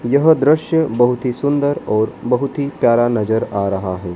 यह दृश्य बहुत ही सुंदर और बहुत ही प्यारा नजर आ रहा है।